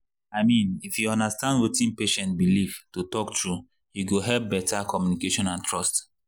i mean if you understand wetin patient believe to talk true e go help better communication and trust.